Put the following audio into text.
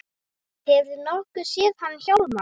Hefurðu nokkuð séð hann Hjálmar